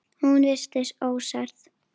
Hún virtist ósærð.